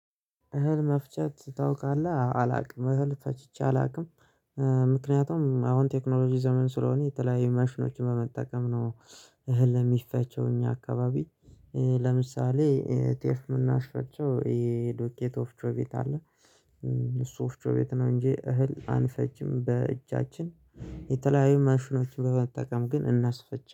እህል መፍጨት ታውቃለህ? አላውቅም እህል ፈቺቼ አላውቅም ምክንያቱም አሁን ቴክኖሎጂ ዘመን ስለሆነ የተለያየ መሽኖችን በመጠቀም ነው። እህል የሚፈጨው እኛ አካባቢ ለምሳሌ ጤፍ የምናስፈጨው ይሄ ዱቄት ወፍጮ ቤት አለ። እሱ ወፍጮ ቤት ነው እንጂ እህል አንጭጅም በእጃችን። የተለያዩ መሽኖችን በመጠቀም ግን እናስፈጭ